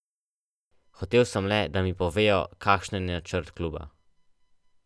Hotel sem le, da mi povejo, kakšen je načrt kluba.